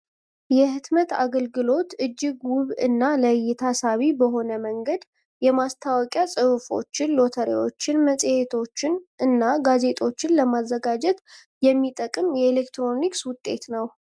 የህትመት አገልግሎት እጅግ ውብ እና ለእይታ ሳቢ በሆነ መንገድ የማስታወቂያ ፅሁፎችን፣ ሎተሪዎችን፣ መፅሄቶችን እና ጋዜጦችን ለማዘጋጀት የሚጠቅም የኤሌክትሮኒክስ ውጤት ነው።